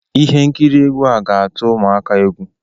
Ihe nkiri egwu a ga-atụ ụmụaka a egwu